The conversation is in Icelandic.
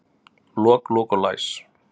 Lok, lok og læs.